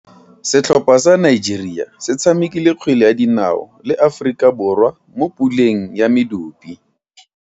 Setlhopha sa Nigeria se tshamekile kgwele ya dinaô le Aforika Borwa mo puleng ya medupe.